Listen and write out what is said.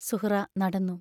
സുഹ്റാ നടന്നു.